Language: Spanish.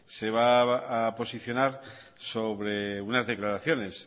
se va a posicionar sobre unas declaraciones